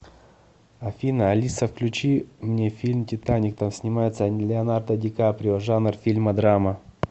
афина алиса включи мне фильм титаник там снимается леонардо ди каприо жанр фильма драма